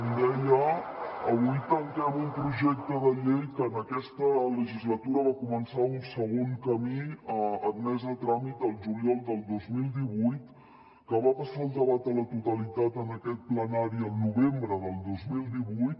com deia avui tanquem un projecte de llei que en aquesta legislatura va començar un segon camí admès a tràmit el juliol del dos mil divuit que va passar al debat a la totalitat en aquest plenari el novembre del dos mil divuit